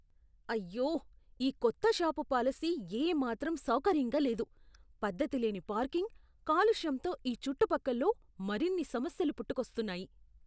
అయ్యో! ఈ కొత్త షాపు పాలసీ ఏమాత్రం సౌకర్యంగా లేదు. పద్ధతి లేని పార్కింగ్, కాలుష్యంతో ఈ చుట్టుపక్కల్లో మరిన్ని సమస్యలు పుట్టుకొస్తున్నాయి.